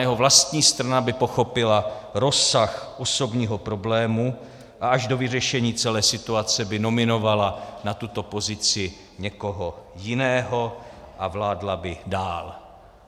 Jeho vlastní strana by pochopila rozsah osobního problému a až do vyřešení celé situace by nominovala na tuto pozici někoho jiného a vládla by dál.